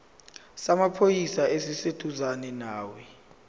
samaphoyisa esiseduzane nawe